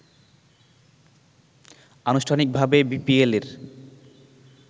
আনুষ্ঠানিকভাবে বিপিএল-এর